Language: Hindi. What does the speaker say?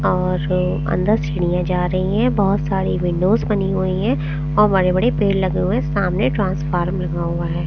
और अन्दर सीढ़ियाँ जा रही हैं बहोत सारी विंडोज बनी हुयी हैं और बड़े-बड़े पेड़ लगे हुए हे सामने ट्रांसफार्मर लगा हुआ है।